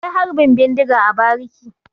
Akwai Harbin bindiga a bariki.